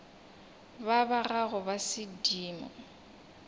ba ba gago ba sedimo